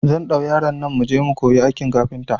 Zan ɗau yaron nan muje mu kuyi aikin kafinta